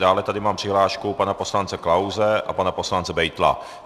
Dále tady mám přihlášku pana poslance Klause a pana poslance Beitla.